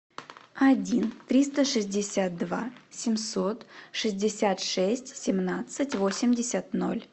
один триста шестьдесят два семьсот шестьдесят шесть семнадцать восемьдесят ноль